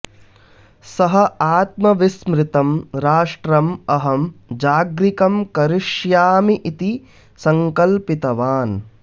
सः आत्मविस्मृतं राष्ट्रम् अहं जागृकं करिष्यामि इति सङ्कल्पितवान्